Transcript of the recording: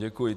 Děkuji.